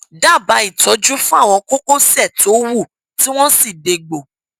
dábàá ìtọjú fún àwọn kókósẹ tó wú tí wọn sì dégbò